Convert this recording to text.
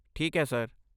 ਠੀਕ ਹੈ ਸਰ।